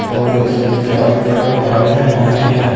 और इसके चारों तरफ पानी ही पानी है।